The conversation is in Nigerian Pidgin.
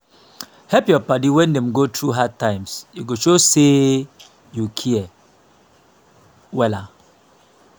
help yur padi wen dem go thru hard times e go show say yu say yu care wella